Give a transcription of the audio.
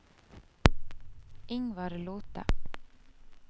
Ingvar Lothe